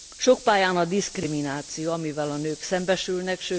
Sok pályán a diszkrimináció, amivel a nők szembesülnek.